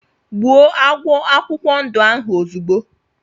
Gbụo agwọ akwụkwọ ndụ ahụ ozigbo!!!